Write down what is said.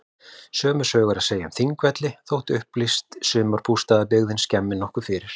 Sömu sögu er að segja um Þingvelli þótt upplýst sumarbústaðabyggðin skemmi nokkuð fyrir.